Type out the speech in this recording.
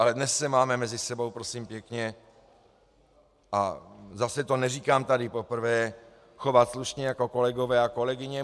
Ale dnes se máme mezi sebou, prosím pěkně, a zase to neříkám tady poprvé, chovat slušně jako kolegové a kolegyně.